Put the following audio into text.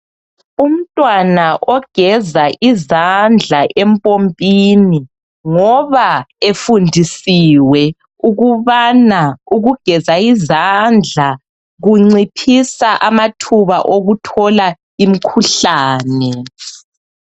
Umntwana ogeza izandla empompini ngoba efundisiwe ukubana ukugeza izandla kunciphisa amathuba okuthola imkhuhlane.